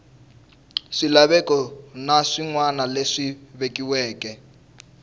swilaveko na swinawana leswi vekiweke